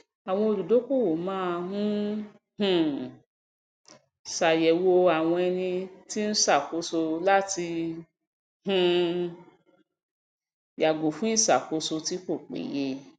àwọn olùdókòwò máa ń um ṣàyẹwò àwọn ẹni tó ń ṣàkóso láti um yàgò fún ìṣàkóso tí kò péye